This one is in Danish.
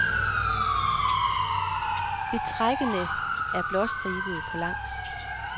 Betrækene er blåstribede på langs.